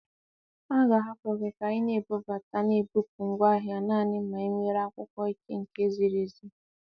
A ga-ahapụ gị ka ibubata na bupụ ngwaahịa nanị ma ị nwere akwụkwọ ike nke ziri ezi.